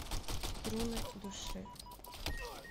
струны души